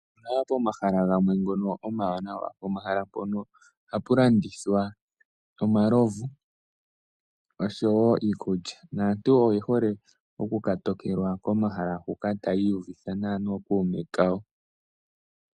Opuna pomahala gamwe ngono omanawa pomahala pono ohapu landithwa omalomvu osho wo iikulya naantu oyehole oku katokelwa komahala huka tayiyuvitha nawa nokuume kawo.